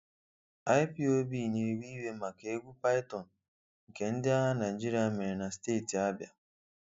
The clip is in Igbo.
IPOB na-ewe iwe maka egwu python nke ndị agha Naịjirịa mere na steeti Abia